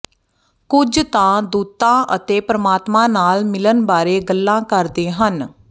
ਕੁਝ ਤਾਂ ਦੂਤਾਂ ਅਤੇ ਪਰਮਾਤਮਾ ਨਾਲ ਮਿਲਣ ਬਾਰੇ ਗੱਲ ਕਰਦੇ ਹਨ